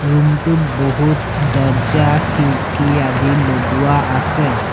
Room টোত বহুত দৰ্জা খিৰিকী আদি লগোৱা আছে।